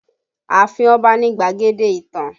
Ààfin Ọba ni gbadege ìtàn